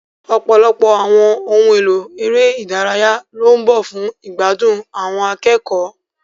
Ọ̀pọ̀lọpọ̀ àwọn ohun èlò eré ìdárayá ló ń bọ̀ fún ìgbádùn àwọn akẹ́kọ̀ọ́.